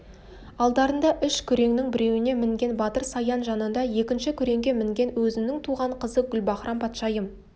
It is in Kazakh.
алдарында үш күреңнің біреуіне мінген батыр саян жанында екінші күреңге мінген өзінің туған қызы гүлбаһрам-патшайым